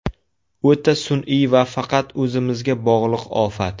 O‘ta sun’iy va faqat o‘zimizga bog‘liq ofat.